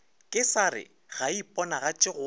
kesare ga e iponagatše go